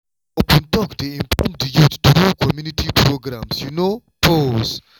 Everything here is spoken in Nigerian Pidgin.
open talk dey inform di youth through community programs you know… pause